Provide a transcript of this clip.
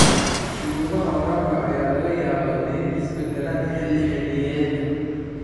Shuruudaha waraabka ayaa laga yaabaa inay isbeddelaan xilli-xilliyeedka.